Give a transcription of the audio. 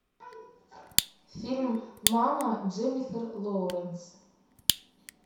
фильм мама дженнифер лоуренс